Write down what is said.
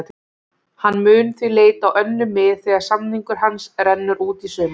Hann mun því leita á önnur mið þegar samningur hans rennur út í sumar.